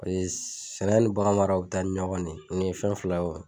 sɛnɛ ni baganmara u bi taa ni ɲɔgɔn ne, nin ye fɛn fila wa